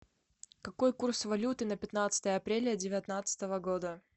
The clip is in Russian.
какой курс валюты на пятнадцатое апреля девятнадцатого года